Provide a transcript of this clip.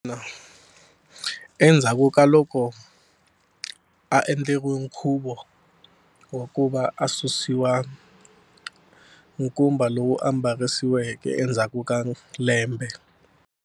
endzhaku ka loko a endleriwe nkhuvo wa ku va a susiwa nkumba lowu a mbarisiweke endzhaku ka lembe.